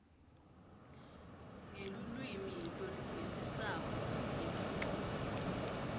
ngelulwimi loluvisisako ngetinchubo